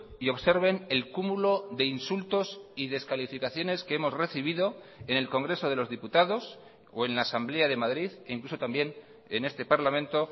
y observen el cúmulo de insultos y descalificaciones que hemos recibido en el congreso de los diputados o en la asamblea de madrid e incluso también en este parlamento